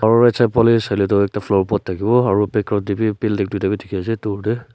aro right side faleh saile Tu ekta flower pot dakibo aro background de b building tuita v diki ase dur de.